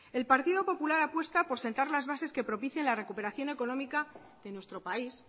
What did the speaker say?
el partido popular apuesta por sentar las bases que propician la recuperación económica de nuestro país